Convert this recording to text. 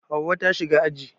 Hauwa ta shiga aji